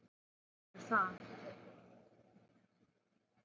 Hvað spil er það?